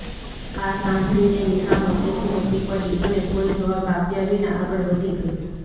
આ સાંભળીને નેહા મોટેથી હસી પડી અને કોઈ જવાબ આપ્યા વિના આગળ વધી ગઈ